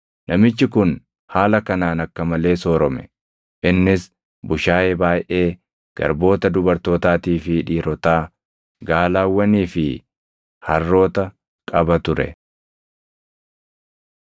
Namichi kun haala kanaan akka malee soorome; innis bushaayee baayʼee, garboota dubartootaatii fi dhiirotaa, gaalawwanii fi harroota qaba ture.